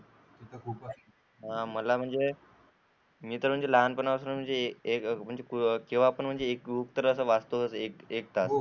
मला म्हणजे मी तर म्हणजे लहानपणापासून जे जेव्हा पण असं वाचतो ना एकदा,